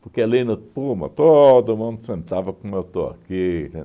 Porque ali no Pullman todo mundo sentava como eu estou aqui.